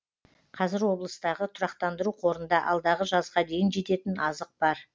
қазір облыстағы тұрақтандыру қорында алдағы жазға дейін жететін азық бар